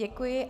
Děkuji.